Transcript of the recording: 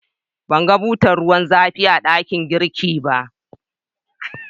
ban gan butar ruwan zafi a dakin girki ba.